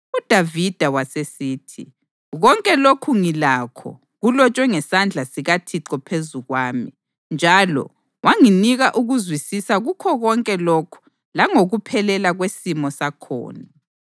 UDavida wasesithi: “Konke lokhu ngilakho kulotshwe ngesandla sikaThixo phezu kwami, njalo wanginika ukuzwisisa kukho konke lokhu langokuphelela kwesimo sakhona.”